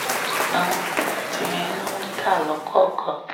àwọn páàtì yẹn ló ń ta lọ́kọ̀ọ̀kan